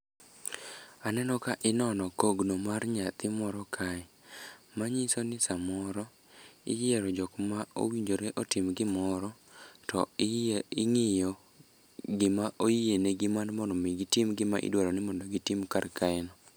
Aneno ka inono kogno mar nyathi moro kae manyiso ni samoro iyiero jokma owinjore otim gimoro to ing'iyo gima oyienegi mar mondo omi gitim gima idwaro ni mondo gitim karkaeno.